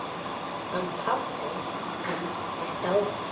Hann pabbi minn er dáinn.